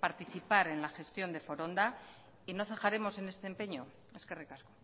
participar en la gestión de foronda y no cejaremos en este empeño eskerrik asko